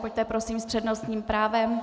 Pojďte, prosím, s přednostním právem.